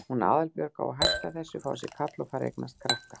Hún Aðalbjörg á að hætta þessu, fá sér kall og fara að eignast krakka.